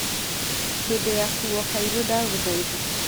hĩndĩ ya kuo cairo ndaguthaitha